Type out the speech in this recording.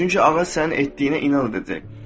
Çünki ağac sənin etdiyinə inad edəcək.